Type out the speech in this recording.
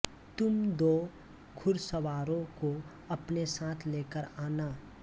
तुम दो घुड़सवारों को अपने साथ लेकर आना